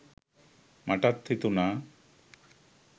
මටත් හිතුනා